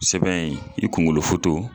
Sɛbɛn in i kunkolo foto